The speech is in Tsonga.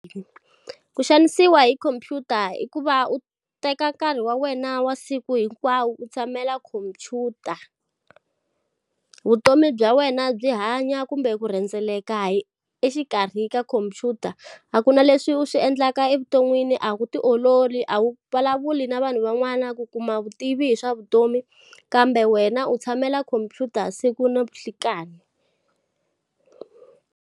Ku xanisiwa hi computer i ku va u teka nkarhi wa wena wa siku hinkwawo u tshamela khomphyuta. Vutomi bya wena byi hanya kumbe ku rhendzeleka hi exikarhi ka khomphyuta. A ku na leswi u swi endlaka evuton'wini, a wu ti ololi, a wu vulavuli na vanhu van'wana ku kuma vutivi hi swa vutomi. Kambe wena u tshamela computer siku na nhlikani.